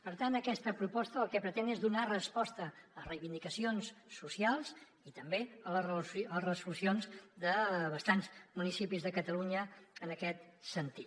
per tant aquesta proposta el que pretén és donar resposta a reivindicacions socials i també a les resolucions de bastants municipis de catalunya en aquest sentit